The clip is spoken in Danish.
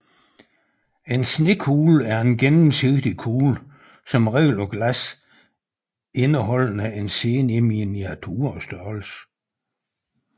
En snekugle er en gennemsigtig kugle som regel af glas indeholdende en scene i miniaturestørrelse